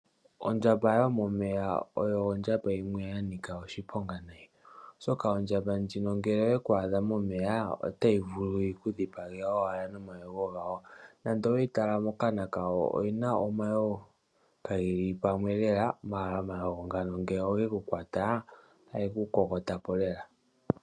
Ondjamba yomeya oyo ondjamba yimwe yanika oshiponga nayi, oshoka ondjamba ndjino ngele oyekwadha momeya otayivulu yikudhipange owala nomayengo ngawo, nande oweyitala mokana kayo oyina omayengo kangeli pamwe lela ,mala omayengo ngano ngele ongekukwata otangeku kokotapo lela.